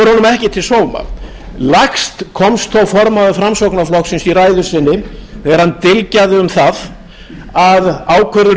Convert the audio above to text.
ekki til sóma lægst komst þó formaður framsóknarflokksins í ræðu sinni þegar hann dylgjaði um það að ákvörðun